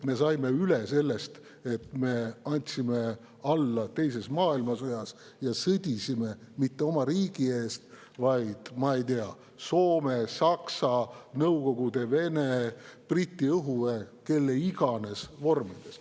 Me saime üle sellest, et me andsime alla teises maailmasõjas ja sõdisime mitte oma riigi eest, vaid ma ei tea, Soome, Saksa, Nõukogude Liidu, Vene, Briti õhuväe, kelle iganes vormides.